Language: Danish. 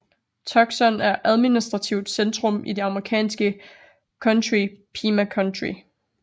Tucson er administrativt centrum i det amerikanske county Pima County